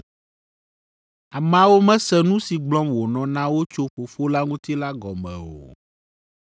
Ameawo mese nu si gblɔm wònɔ na wo tso Fofo la ŋuti la gɔme o.